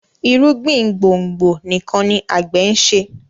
irúgbìn gbòngbò nìkàn ní agbe nṣe